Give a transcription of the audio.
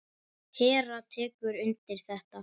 Hera tekur undir þetta.